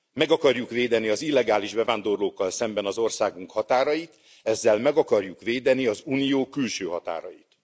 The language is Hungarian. Meg akarjuk védeni az illegális bevándorlókkal szemben az országunk határait, ezzel meg akarjuk védeni az Unió külső határait.